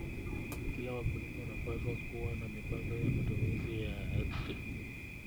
Kila wakulima wanapaswa kuwa na mipango ya matumizi ya ardhi.